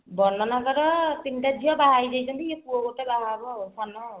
ବଡ ନାନାଙ୍କର ତିନିଟା ଝିଅ ବାହାହେଇ ଯାଇଛନ୍ତି ଏଇ ପୁଅ ଗୋଟେ ବାହା ହେବ ଆଉ ସାନ ଆଉ